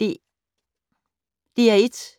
DR1